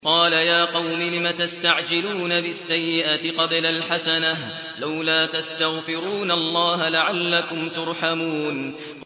قَالَ يَا قَوْمِ لِمَ تَسْتَعْجِلُونَ بِالسَّيِّئَةِ قَبْلَ الْحَسَنَةِ ۖ لَوْلَا تَسْتَغْفِرُونَ اللَّهَ لَعَلَّكُمْ تُرْحَمُونَ